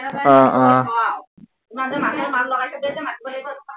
আহ আহ